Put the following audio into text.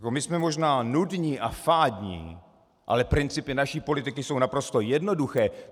My jsme možná nudní a fádní, ale principy naší politiky jsou naprosto jednoduché.